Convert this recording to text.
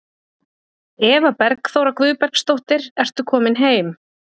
Eva Bergþóra Guðbergsdóttir: Ertu komin heim?